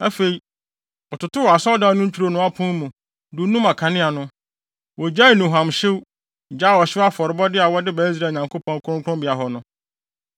Afei, wɔtotoo Asɔredan no ntwironoo apon mu, dunum akanea no. Wogyaee nnuhuamhyew, gyaee ɔhyew afɔrebɔde a wɔde ba Israel Nyankopɔn, kronkronbea hɔ no.